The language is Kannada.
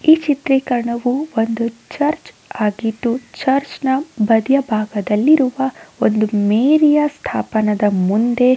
ಈ ಚಿತ್ರೀಕರಣವು ಒಂದು ಚರ್ಚ್ ಆಗಿದ್ದು ಚರ್ಚ್ ನ ಬದಿಯ ಬಾಗದಲ್ಲಿರುವ ಒಂದು ಮೇರಿಯ ಸ್ತಾಪನದ ಮುಂದೆ.